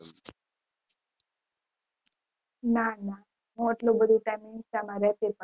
ના ના હું આટલો time insta માં રહેતી જ નથી